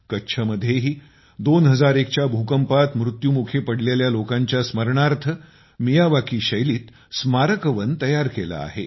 कच्छमध्येही 2001 च्या भूकंपात मृत्युमुखी पडलेल्या लोकांच्या स्मरणार्थ मियावाकी शैलीत स्मारक वन तयार केले आहे